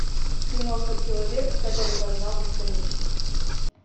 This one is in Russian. киноха человек который познал бесконечность